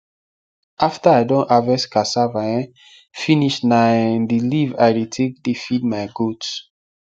after i don harvest cassava um finish na um the leave i dey take dey feed my goats